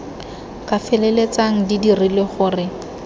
ka feleltsang di dirile gore